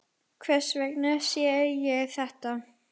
Hvers vegna sé ég þetta?